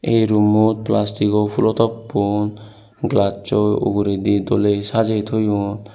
ei roommot plastigo fulotop glassoi uguredi doley sajey toyoun.